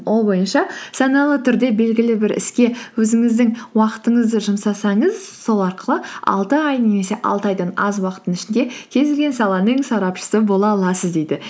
ол бойынша саналы түрде белгілі бір іске өзіңіздің уақытыңызды жұмсасаңыз сол арқылы алты ай немесе алты айдан аз уақыттың ішінде кез келген саланың сарапшысы бола аласыз дейді